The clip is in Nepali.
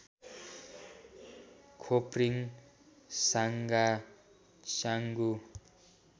खोप्रिङ साङगा चाङगु